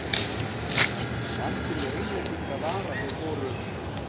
Vandinn við Englendinga var að þeir voru